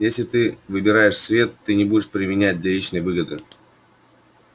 если ты выбираешь свет ты не будешь применять для личной выгоды